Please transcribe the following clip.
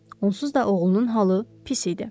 Onsuz da oğlunun halı pis idi.